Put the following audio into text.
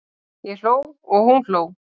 Ég hló og hún hló.